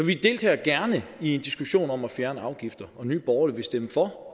vi deltager gerne i en diskussion om at fjerne afgifter og nye borgerlige vil stemme for